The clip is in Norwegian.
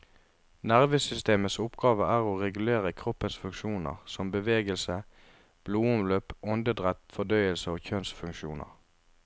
Nervesystemets oppgave er å regulere kroppens funksjoner som bevegelse, blodomløp, åndedrett, fordøyelse og kjønnsfunksjoner.